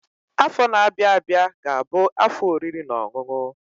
Afọ na-abịa abịa ga-abụ afọ oriri na ọṅụṅụ